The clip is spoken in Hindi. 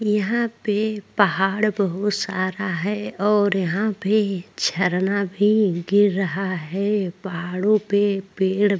यहाँ पे पहाड़ बहुत सारा है और यहाँ पे झरना भी गिर रहा है पहाड़ो पे पेड़ --